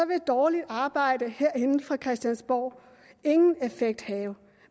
vil dårligt arbejde herinde på christiansborg ingen effekt have